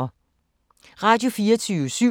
Radio24syv